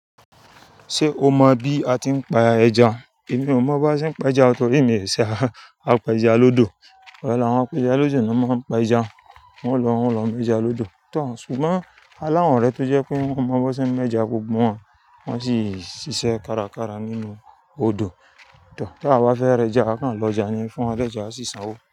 Ṣé o mọ bí a ti ń pa ẹja? Èmi ò mọ bó ṣe ń pa ẹja torí èmi ẹ̀sà, á pa ẹja lódò. Òòrè l'awọn apẹja lójú lọ̀ máa ń pẹja. Wọ́n ń lọ, wọ́n lọ mú ẹja lọ́dọ̀. Òòtọ́, ṣùgbọ́n aláwọn orẹ tó jẹ́ pé wọ́n mọ bó ṣe ń mú ẹja, gbogbo wọn wọ́n sì ṣíṣe kárakára nínú odò. Òòtọ́, tí a bá fẹ́ rẹ ẹja, a kàn lọ ja ní fún ẹlẹjà, a sì san owó.